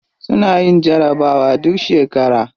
Suna yin jarabawa duk shekara.